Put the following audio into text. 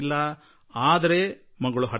ಆದರೆ ಮಗಳು ಹಠಕ್ಕೆ ಬಿದ್ದಿದ್ದಳು